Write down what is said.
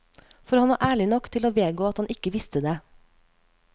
For han var ærlig nok til å vedgå at han ikke visste det.